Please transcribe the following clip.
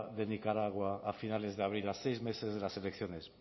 de nicaragua a finales de abril a seis meses de las elecciones